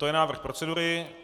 To je návrh procedury.